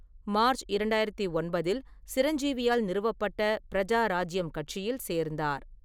மார்ச்இரண்டாயிரத்து ஒன்பதில், சிரஞ்சீவியால் நிறுவப்பட்ட பிரஜா ராஜ்யம் கட்சியில் சேர்ந்தார்.